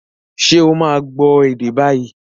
Ṣé ó máa gbọ́ ède bái?